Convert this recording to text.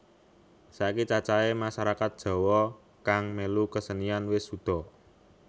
Saiki cacahé masarakat Jawa kang mèlu kesenian wis suda